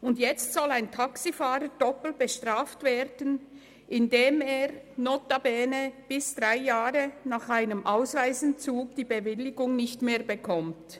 Und jetzt soll ein Taxifahrer doppelt bestraft werden, indem er notabene bis zu drei Jahren nach einem Ausweisentzug die Bewilligung nicht mehr erhält?